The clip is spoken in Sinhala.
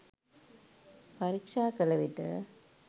පරික්ෂා කළවිට